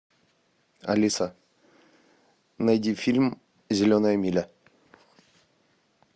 алиса найди фильм зеленая миля